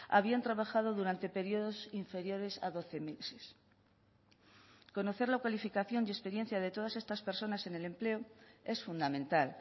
habían trabajado durante periodos inferiores a doce meses conocer la cualificación y experiencia de todas estas personas en el empleo es fundamental